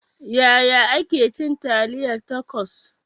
Yaya ake cin taliyar tacos?